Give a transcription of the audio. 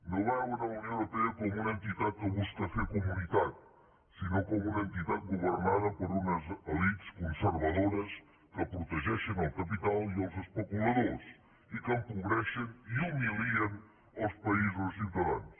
no veuen la unió europea com una entitat que busca fer comunitat sinó com una entitat governada per unes elits conservadores que protegeixen el capital i els especuladors i que empobreixen i humilien els països i ciutadans